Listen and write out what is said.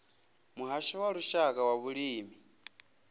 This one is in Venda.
muhasho wa lushaka wa vhulimi